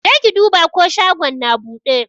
Jeki duba ko shagon na buɗe?